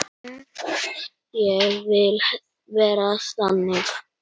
Ég vil vera þannig.